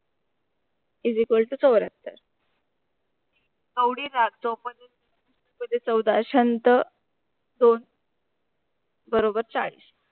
इस तू चौरथर ऑरी रात जोपातून चौदा असंत दोन बरोबर चालीस